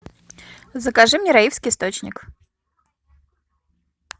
закажи мне раевский источник